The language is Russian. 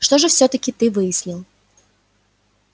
что же всё-таки ты выяснил